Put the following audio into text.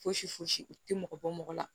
Fosi foyisi u tɛ mɔgɔ bɔ mɔgɔ la